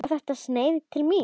Var þetta sneið til mín?